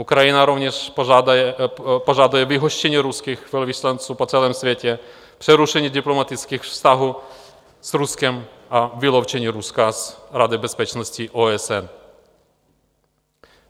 Ukrajina rovněž požaduje vyhoštění ruských velvyslanců po celém světě, přerušení diplomatických vztahů s Ruskem a vyloučení Ruska z Rady bezpečnosti OSN.